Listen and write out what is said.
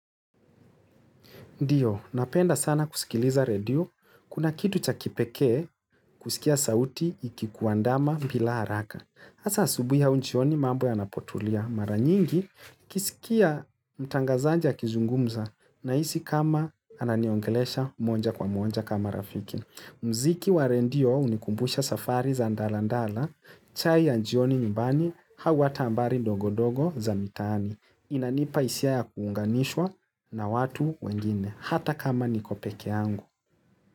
Ndiyo, napenda sana kusikiliza radio. Kuna kitu cha kipekee kusikia sauti ikikuandama bila haraka. Asa asubuhi au njioni mambo ya napotulia. Mara nyingi ukisikia mtangazanji akizungumza na isi kama ananiongelesha mwonja kwa mwonja kama rafiki. Mziki wa rendio unikumbusha safari za ndala ndala, chai ya njioni nyumbani, au ata hambari dogodogo za mitani. Inanipa hisia kuunganishwa na watu wengine. Hata kama niko pekee yangu.